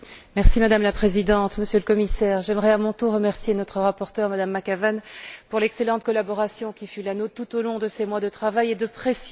Madame la Présidente, Monsieur le Commissaire, j'aimerais à mon tour remercier notre rapporteure, Mme McAvan, pour l'excellente collaboration qui fut la nôtre tout au long de ces mois de travail et de pression.